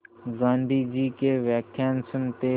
गाँधी जी के व्याख्यान सुनते